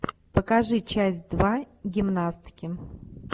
покажи часть два гимнастки